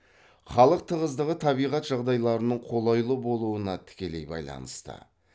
халық тығыздығы табиғат жағдайларының қолайлы болуына тікелей байланысты